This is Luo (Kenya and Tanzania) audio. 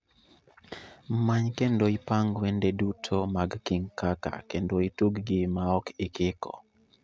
Many kendo ipang wendo duto mag king kaka kendo itug gi maok ikiko